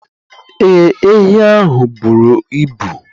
Ee, ehi ahụ buru ibu